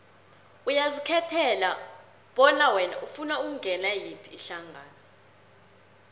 uyazikhethela bona wena ufuna ukungenela yiphi ihlangano